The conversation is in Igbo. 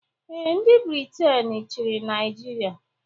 Ee, ndị Briten chịrị Naijiria